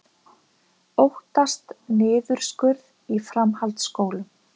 Óttast niðurskurð í framhaldsskólum